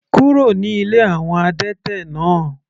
Kúrò ní ilé àwọn adẹ́tẹ̀ náà.